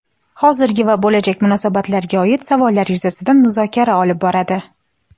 hozirgi va bo‘lajak munosabatlarga oid savollar yuzasidan muzokara olib boradi.